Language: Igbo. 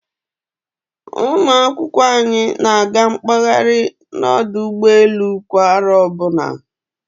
Ụmụ akwụkwọ anyị na-aga mkpahari na ọdụ ụgbọelu kwa aro ọbụna